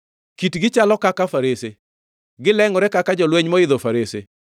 Kitgi chalo kaka farese; Gilengʼore kaka jolweny moidho farese.